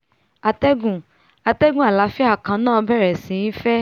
atẹ́gùn atẹ́gùn àlàáfíà kan náà bẹ̀rẹ̀ sí í fẹ́